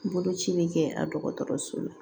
Boloci bɛ kɛ a dɔgɔtɔrɔso la